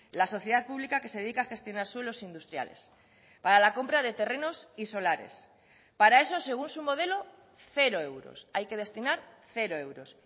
la sociedad pública que se dedica a gestionar suelos industriales para la compra de terrenos y solares para eso según su modelo cero euros hay que destinar cero euros